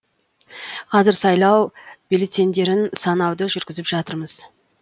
қазір сайлау бюлетеньдерін санауды жүргізіп жатырмыз